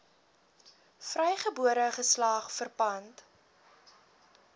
vrygebore geslag verpand